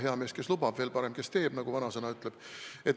Hea mees, kes lubab, veel parem, kes teeb, nagu vanasõna ütleb.